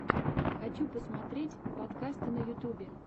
хочу посмотреть подкасты на ютюбе